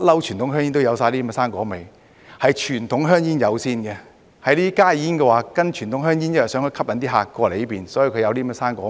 傳統香煙一向有水果味，是傳統香煙先有的，加熱煙是跟隨傳統香煙的，因為想吸引顧客轉過來，所以才有水果味。